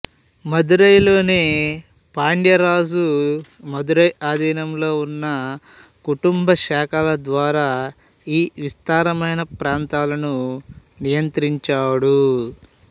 మదురైలోని పాండ్య రాజు మదురై ఆధీనంలో ఉన్న కుటుంబ శాఖల ద్వారా ఈ విస్తారమైన ప్రాంతాలను నియంత్రించాడు